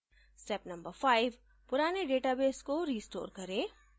step no 5: पुराने database को restore करें